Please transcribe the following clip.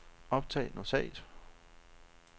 optag notat